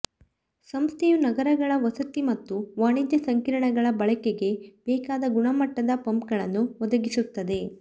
ಸಂಸ್ಥೆಯು ನಗರಗಳ ವಸತಿ ಮತ್ತು ವಾಣಿಜ್ಯ ಸಂಕೀರ್ಣಗಳ ಬಳಕೆಗೆ ಬೇಕಾದ ಗುಣಮಟ್ಟದ ಪಂಪ್ಗಳನ್ನು ಒದಗಿಸುತ್ತದೆ